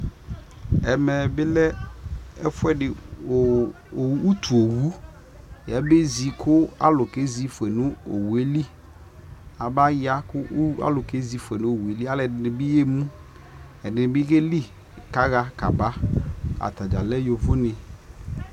ɛmɛ bi lɛ ɛƒʋɛdi kʋ ʋtʋ ɔwʋ yabɛzi kʋ alʋ kɛzi ƒʋɛ nʋ ɔwʋɛli, abaya kʋ alʋ kɛzi ƒʋɛ nʋ ɔwʋɛli, alʋɛdini bi yɛmʋ, ɛdini bi kɛli kaha kaba, atagya lɛ yɔvɔ ni